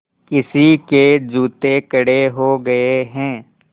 किसी के जूते कड़े हो गए हैं